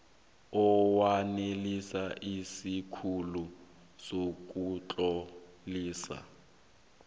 owanelisa isikhulu sokutlolisa